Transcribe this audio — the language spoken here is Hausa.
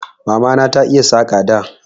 Mamana ta iya Saƙa da